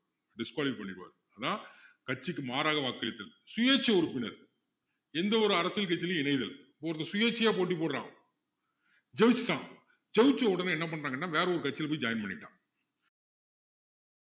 disqualify பண்ணிடுவாரு அப்படின்னா கட்சிக்கு மாறாக வாக்களித்தல் சுயேட்சை உறுப்பினர் எந்தவொரு அரசியல் கட்சியிலும் இணைதல் ஒருத்தன் சுயேட்சையா போட்டி போடுறான் ஜெயிச்சுட்டான் ஜெயிச்ச உடனே என்ன பன்றான்ன்னா வேற ஒரு கட்சியில போய் join பண்ணிட்டான்